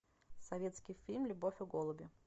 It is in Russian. советский фильм любовь и голуби